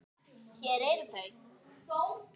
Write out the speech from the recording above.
Hér eru þau